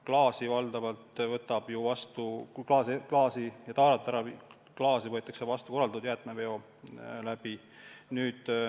Ilmselt viis korda kuus ei hakka, sest klaastaarat võetakse vastu korraldatud jäätmeveo korras.